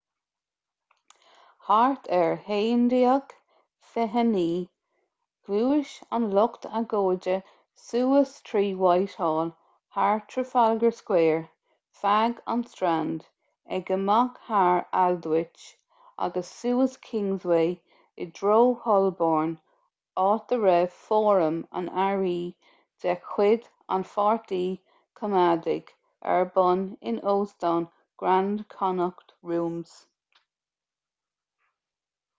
thart ar 11:29 ghluais an lucht agóide suas trí whitehall thar trafalgar square feadh an strand ag imeacht thar aldwych agus suas kingsway i dtreo holborn áit a raibh fóram an earraí de chuid an pháirtí coimeádaigh ar bun in óstán grand connaught rooms